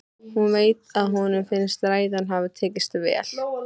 Hún veit að honum finnst ræðan hafa tekist vel.